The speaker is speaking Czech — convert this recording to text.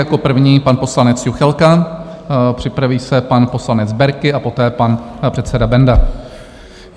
Jako první pan poslanec Juchelka, připraví se pan poslanec Berki a poté pan předseda Benda.